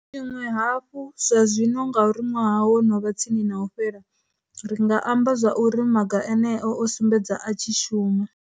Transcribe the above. Tshiṅwe hafhu, zwazwino ngauri ṅwaha wo no vha tsini na u fhela, ri nga amba zwa uri maga eneo o sumbedza a tshi shuma.